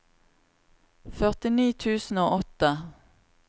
førtini tusen og åtte